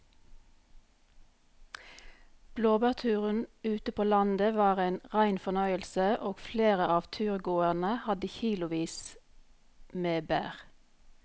Blåbærturen ute på landet var en rein fornøyelse og flere av turgåerene hadde kilosvis med bær.